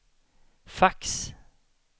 fax